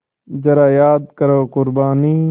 ज़रा याद करो क़ुरबानी